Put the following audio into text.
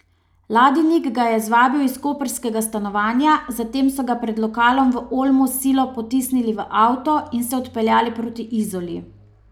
Ladinik ga je zvabil iz koprskega stanovanja, zatem so ga pred lokalom v Olmu s silo potisnili v avto in se odpeljali proti Izoli.